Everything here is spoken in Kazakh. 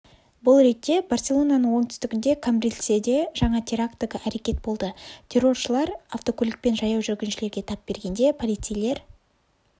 бұл ретте барселонаның оңтүстігінде камбрильседе жаңа терактігі әрекет болды терроршылар автокөлікпен жаяу жүргіншілерге тап бергенде полицейлер